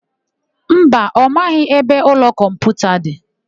Mba, ọ maghị ebe imeụlọ kọmputa dị.